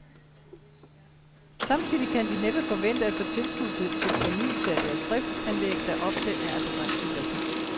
Samtidig kan de næppe forvente at få tilskud til fornyelse af deres driftsanlæg, der ofte er af begrænset værdi.